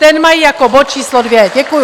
Ten mají jako bod číslo 2. Děkuju.